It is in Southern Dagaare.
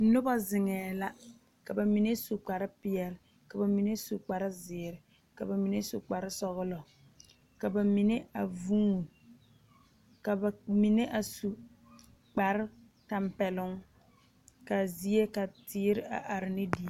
Noba zeŋe la ka bamine su kpare peɛle ka bamine su kpare ziiri ka bamine su kpare sɔglɔ ka bamine a vuune ka bamine a su kpare tanpɛloŋ kaa zie ka teere a are ne diɛ.